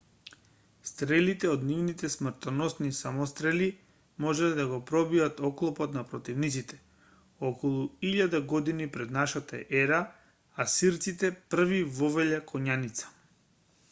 стрелите од нивните смртоносни самострели можеле да го пробијат оклопот на противниците околу 1000 година пр н е асирците први вовеле коњаница